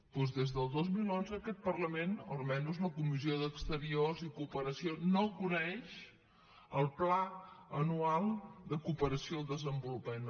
doncs des del dos mil onze aquest parlament almenys la comissió d’acció exterior i cooperació no coneix el pla anual de cooperació al desenvolupament